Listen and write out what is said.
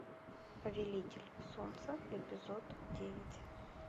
повелитель солнца эпизод девять